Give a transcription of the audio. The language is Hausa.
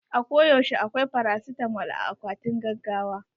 A ko yaushe akwai farasitamol a akwatin gaggawa.